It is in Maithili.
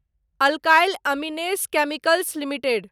alkyl amines chemicals limited